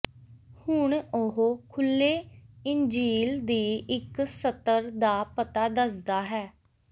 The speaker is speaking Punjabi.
ਹੁਣ ਉਹ ਖੁੱਲ੍ਹੇ ਇੰਜੀਲ ਦੀ ਇੱਕ ਸਤਰ ਦਾ ਪਤਾ ਦੱਸਦਾ ਹੈ